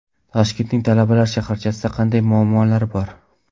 Toshkentning talabalar shaharchasida qanday muammolar bor?.